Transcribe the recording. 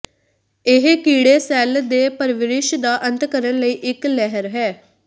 ਇਹ ਕੀੜੇ ਸੈੱਲ ਦੇ ਪਰਵਰਿਸ਼ ਦਾ ਅੰਤ ਕਰਨ ਲਈ ਇੱਕ ਲਹਿਰ ਹੈ